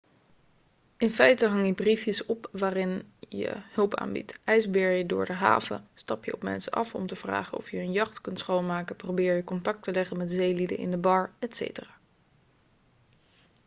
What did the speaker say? in feite hang je briefjes op waarin je hulp aanbiedt ijsbeer je door de haven stap je op mensen af om te vragen of je hun jacht kunt schoonmaken probeer je contact te leggen met zeelieden in de bar etc